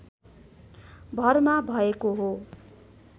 भरमा भएको हो